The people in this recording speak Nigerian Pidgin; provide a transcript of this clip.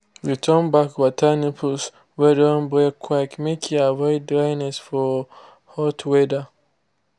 return back water nipples wey don break quick make e avoid dryness for hot weather.